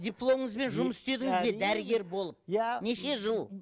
дипломыңызбен жұмыс істедіңіз бе дәрігер болып иә неше жыл